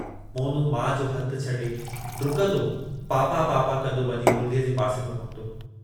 मोनू माउ जो हथु छॾे ॾुकंदो पापा-पापा कंदो वञी मुरलीअ जे पासे में पहुतो।